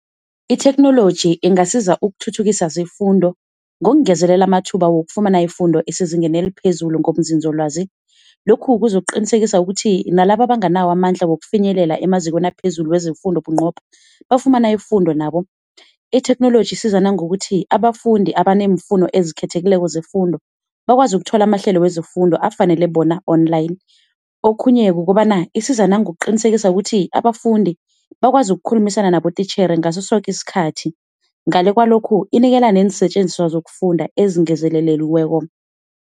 Itheknoloji ingasiza ukuthuthukisa zefundo ngokungezelela amathuba wokufumana ifundo esezingeni eliphezulu ngobunzinzolwazi, lokhu kuzokuqinisekisa ukuthi nalaba abanganawo amandla wokufinyelela emazikweni aphezulu wezefundo bunqopha wafumana ifundo nabo. Itheknoloji isiza nangokuthi abafundi abaneemfundo ezikhethekileko zefundo bakwazi ukuthola amahlelo wezefundo afanele bona online. Okhunye kukobana isiza nangokuqinisekisa ukuthi abafundi bakwazi ukukhulumisana nabotitjhere ngaso soke isikhathi, ngale kwalokhu inikela neensetjenziswa zokufunda ezingezeleliweko.